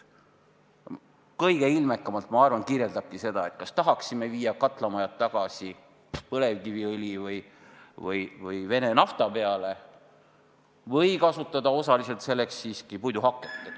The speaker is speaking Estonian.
Kõige ilmekamalt, ma arvan, kajastabki seda küsimus, kas tahaksime viia katlamajad tagasi põlevkiviõli või Vene nafta peale või kasutada osaliselt siiski puiduhaket.